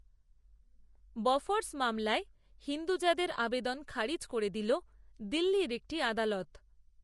Bofors মামলায় হিন্দুজাদের, আবেদন খারিজ করে দিল দিল্লির, একটি, আদালত